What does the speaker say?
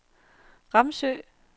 Ramsø